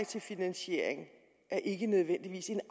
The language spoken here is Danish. til finansiering ikke nødvendigvis er